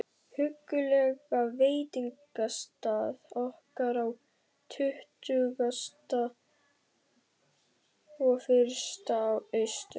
huggulega veitingastað okkar á Tuttugasta og fyrsta Austur